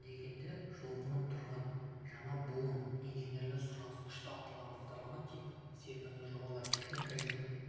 дегенде жұлқынып тұрған жаңа буын инженерлеріне сұраныс күшті аталған бағдарлама тек серпінді жобалар техника және